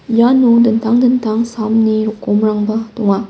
iano dingtang dingtang samni rokkomrangba donga.